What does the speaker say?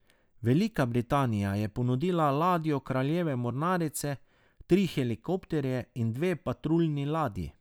Velika Britanija je ponudila ladjo kraljeve mornarice, tri helikopterje in dve patruljni ladji.